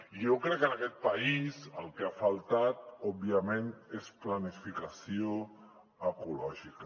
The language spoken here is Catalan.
i jo crec que en aquest país el que ha faltat òbviament és planificació ecològica